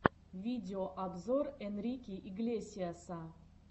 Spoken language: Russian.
видеообзор энрике иглесиаса